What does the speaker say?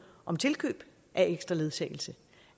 om tilkøb af ekstra ledsagelse